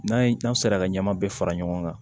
N'an ye n'an sera ka ɲɛmaa bɛɛ fara ɲɔgɔn kan